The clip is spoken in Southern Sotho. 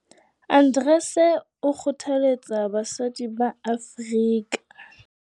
Arendse o kgothaletsa basadi ba Afrika.